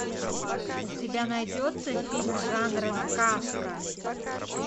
у тебя найдется фильм жанра сказка